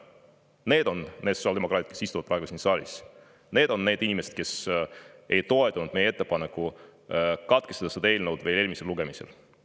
Need on need sotsiaaldemokraadid, kes istuvad praegu siin saalis, need on need inimesed, kes ei toetanud meie ettepanekut katkestada eelnõu eelmisel lugemisel.